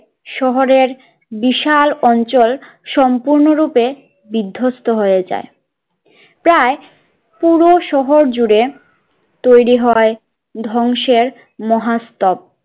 শহরের বিশাল অঞ্চল সম্পূর্ণ রূপে বিধস্ত হয়ে যায় প্রায় পুরো শহর জুড়ে তৈরি হয় ধ্বংসের মহা স্তব